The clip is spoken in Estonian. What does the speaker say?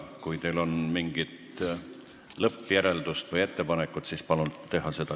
Kui teil on mingi lõppjäreldus või ettepanek, siis palun esitage see kohe.